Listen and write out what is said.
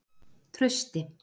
Trausti